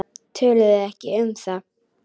Töluðu ekki um það.